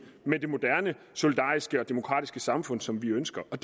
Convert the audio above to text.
med det moderne solidariske og demokratiske samfund som vi ønsker det